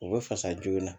O bɛ fasa joona